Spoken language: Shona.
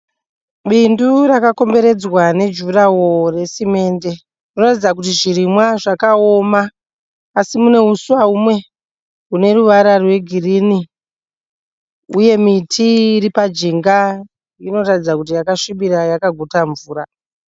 Bindu rakakomberedzwa nejuraho resimende. Munoratidza kuti zvirimwa zvakaoma asi mune huswa humwe hune ruvara rwegirini uye miti iripa jinga inoratidza kuti yakasvibira yakaguta mvura.